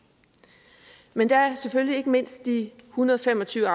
men der er selvfølgelig ikke mindst de en hundrede og fem og tyve